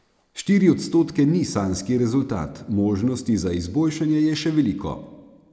Štiri odstotke ni sanjski rezultat, možnosti za izboljšanje je še veliko.